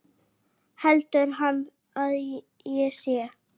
Heldur hann að ég sé.